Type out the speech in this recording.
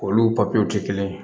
Olu papiyew ti kelen ye